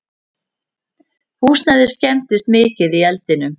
Húsnæðið skemmdist mikið í eldinum